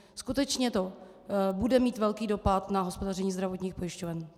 Skutečně to bude mít velký dopad na hospodaření zdravotních pojišťoven.